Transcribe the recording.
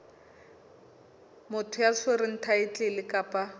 motho ya tshwereng thaetlele kapa